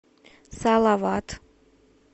салават